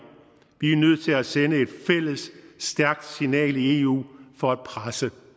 vi er nødt til at sende et fælles stærkt signal i eu for at presse